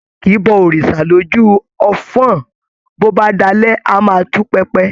A kìí bọ òrìṣà lójú ọfọ́n-ọ́n, bó bá dalẹ́ a máa tú pẹpẹ.